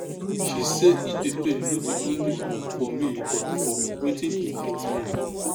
she say e dey pain no be only um for me but for wetin e fit mean